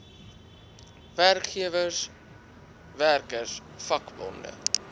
werkgewers werkers vakbonde